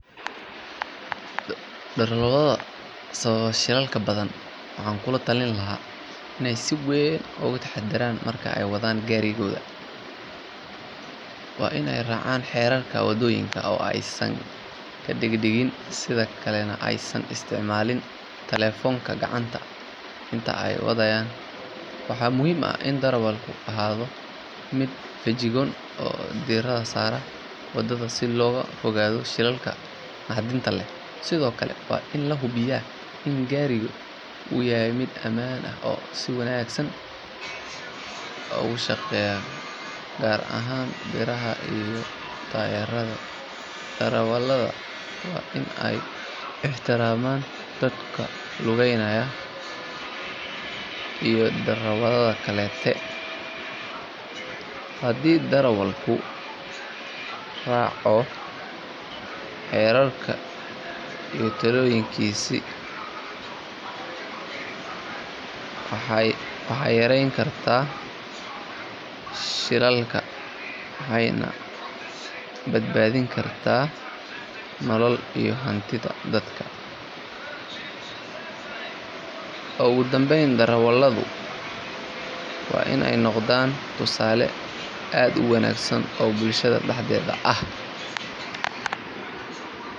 Darawalada sababa shilalka badan waxaan ku talin lahaa inay si weyn u taxadaraan marka ay wadaan gaadiidka. Waa in ay raacaan xeerarka waddooyinka oo aysan ka degdegin, sidoo kalena aysan isticmaalin taleefanka gacanta inta ay wadayaan. Waxa muhiim ah in darawalku ahaado mid feejigan oo diiradda saaraya waddada si looga fogaado shilalka naxdinta leh. Sidoo kale, waa in la hubiyaa in gaariga uu yahay mid ammaan ah oo si wanaagsan u shaqeynaya, gaar ahaan biraha iyo taayirrada. Darawalada waa in ay ixtiraamaan dadka lugeynaya iyo darawalada kale. Haddii darawalku raaco xeerarka iyo talooyinkaasi, waxay yareyn kartaa shilalka waxayna badbaadin kartaa nolol iyo hantida dadka. Ugu dambeyn, darawalada waa in ay noqdaan tusaale wanaagsan oo bulshada dhexdeeda ah.